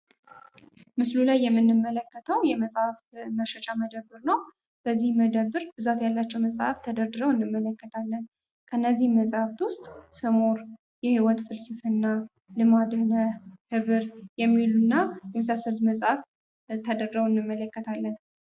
ምስሉ ላይ የምንመለከተው የመጽሐፍ መሸጫ መደብር ነው። በዚህ መደብር ብዛት ያላቸው መጽሐፎች ተደርድረው እንመለከታለን። ከነዚህ መጻሕፍት ውስጥ ስሙር የህይወት ፍልስፍና ልማዴ ነህ ኅብር የሚሉና የመሳሰሉት መጽሐፍ ተደርድረው እንመለከታለን።